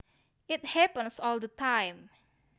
It happens all the time